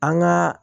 An ka